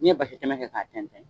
N'i ye basi tɛmɛ kɛ k'a tɛntɛn